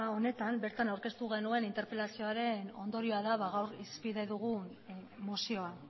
honetan bertan aurkeztu genuen interpelazioaren ondorio da gaur hizpide dugun mozioa